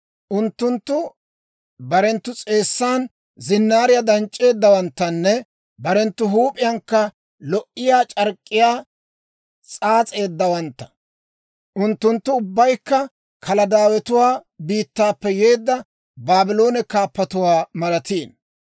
Unttunttu barenttu s'eessan zinnaariyaa danc'c'eeddawanttanne barenttu huup'iyankka lo"iyaa c'ark'k'iyaa s'aas'eeddawantta. Unttunttu ubbaykka Kaladaawanatuwaa biittaappe yeedda Baabloone kaappotuwaa malatiino.